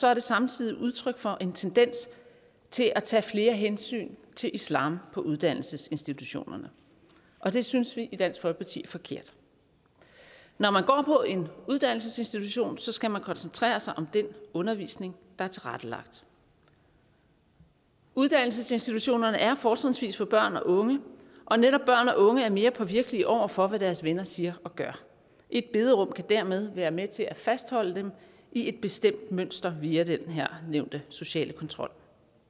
er det samtidig udtryk for en tendens til at tage flere hensyn til islam på uddannelsesinstitutionerne og det synes vi i dansk folkeparti er forkert når man går på en uddannelsesinstitution skal man koncentrere sig om den undervisning der er tilrettelagt uddannelsesinstitutionerne er fortrinsvis for børn og unge og netop børn og unge er mere påvirkelige over for hvad deres venner siger og gør et bederum kan dermed være med til at fastholde dem i et bestemt mønster via den her nævnte sociale kontrol